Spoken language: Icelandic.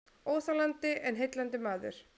Óþolandi en heillandi maður